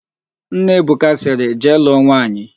Nna Ebuka sịrị, "jee lụọ nwaanyị"!